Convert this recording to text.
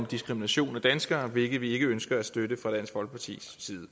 diskrimination af danskere hvilket vi ikke ønsker at støtte fra dansk folkepartis side